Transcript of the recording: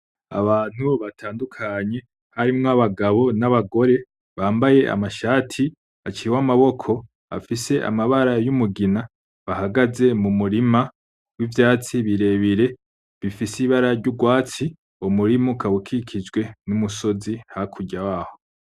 Abantu batandukanye harimwo abagabo n'abagore bambaye amashati aciwe amaboko afise amabara y'umugina bahagaze mumurima w'ivyatsi birebire bifise ibara ry'urwatsi, umurima ukaba ukikijwe n'umusozi uri hakurya waho.